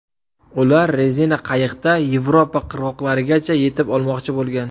Ular rezina qayiqda Yevropa qirg‘oqlarigacha yetib olmoqchi bo‘lgan.